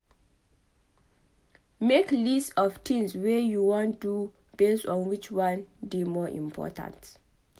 Make list of tins wey you wan do based on which one dey more important